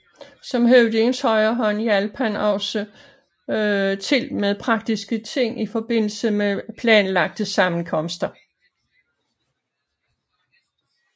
Som høvdingens højre hånd hjalp han også til med praktiske ting i forbindelse med planlagte sammenkomster